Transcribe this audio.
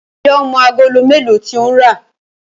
njé o mọ Àgòló melo tí o ń rá?